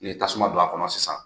Ni ye tasuma don a kɔnɔ sisan